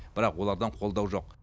бірақ олардан қолдау жоқ